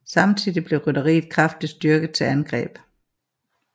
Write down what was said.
Samtidig blev rytteriet kraftigt styrket til angreb